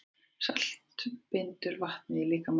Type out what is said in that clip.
Salt bindur vatnið í líkamanum.